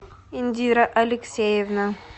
индира алексеевна